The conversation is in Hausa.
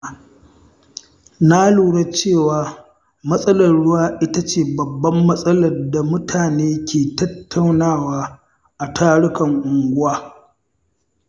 Na lura cewa matsalar ruwa ita ce babbar matsalar da mutane ke tattaunawa a tarukan unguwa.